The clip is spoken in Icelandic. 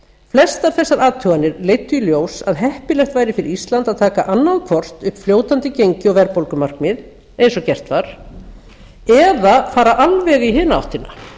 flestar þessar athuganir leiddu í ljós að heppilegt væri fyrir ísland að taka annað hvort upp fljótandi gengi og verðbólgumarkmið eins og gert var eða fara alveg í hina áttina